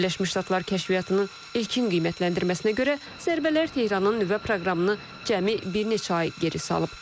Birləşmiş Ştatlar kəşfiyyatının ilkin qiymətləndirməsinə görə, zərbələr Tehranın nüvə proqramını cəmi bir neçə ay geri salıb.